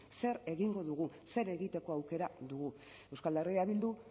zer egingo dugu zer egiteko aukera dugu euskal herria bildu